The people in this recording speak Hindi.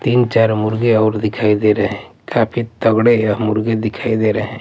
तीन-चार मुर्गे और दिखाई दे रहे हैं काफी तगड़े यह मुर्गे दिखाई दे रहे हैं।